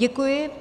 Děkuji.